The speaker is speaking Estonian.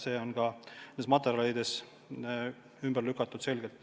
See on ka nendes materjalides selgelt ümber lükatud.